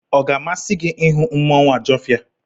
Ọ ga-amasị gị ịhụ mmanwụ Ajọfia?